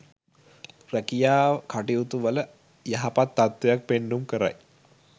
රැකියා කටයුතුවල යහපත් තත්ත්වයක් පෙන්නුම් කරයි.